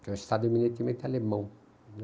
que é um estado eminentemente alemão.